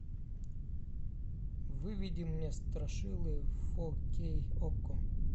выведи мне страшилы фо кей окко